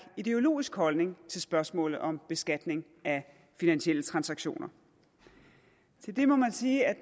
ideologisk holdning til spørgsmålet om beskatning af finansielle transaktioner til det må man sige at